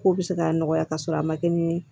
Kow be se ka nɔgɔya ka sɔrɔ a ma kɛ ni